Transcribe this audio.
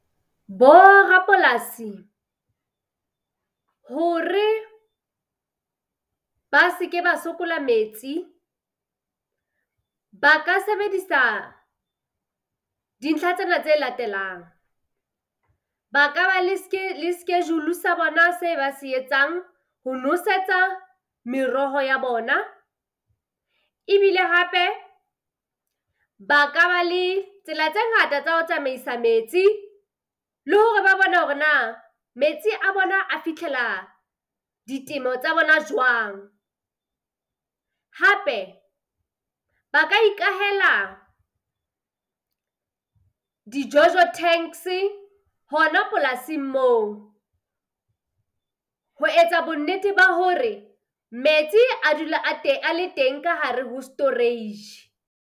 Bo rapolasi hore ba se ke ba sokola metsi, ba ka sebedisa dintlha tsena tse latelang. Ba ka ba le schedule sa bona se ba se etsang ho nosetsa meroho ya bona, ebile hape ba ka ba le tsela tse ngata tsa ho tsamaisa metsi, le hore ba bone hore na metsi a bona a fitlhela ditemo tsa bona jwang. Hape ba ka ikahela di-jojo tanks-e hona polasing moo ho etsa bonnete ba hore metsi a dula a a le teng ka hare ho storage.